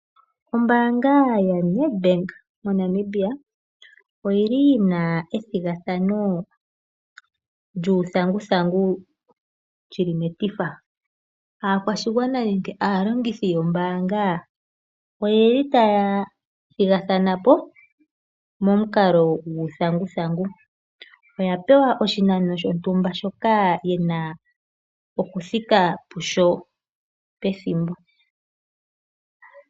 Ombaanga yaNedbank moNamibia oyili yina ethigathano lyuuthanguthangu lyili metifa. Aakwashigwana nenge aalongithi yombaanga oyeli taya thigathanapo momukalo guuthanguthangu. Oya pewa oshinano shontumba shoka yena okuthika kusho pethimbo.